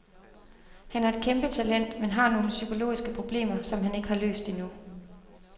Han er et kæmpetalent, men har nogle psykologiske problemer, som han ikke har løst endnu.